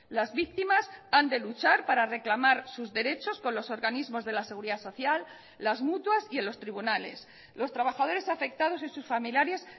las víctimas han de luchar para reclamar sus derechos con los organismos de la seguridad social las mutuas y en los tribunales los trabajadores afectados y sus familiares